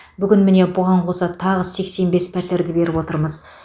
бүгін міне бұған қоса тағы сексен бес пәтерді беріп отырмыз